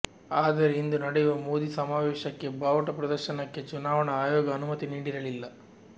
ಆದರೆ ಇಂದು ನಡೆಯುವ ಮೋದಿ ಸಮಾವೇಶಕ್ಕೆ ಬಾವುಟ ಪ್ರದರ್ಶನಕ್ಕೆ ಚುನಾವಣಾ ಆಯೋಗ ಅನುಮತಿ ನೀಡಿರಲಿಲ್ಲ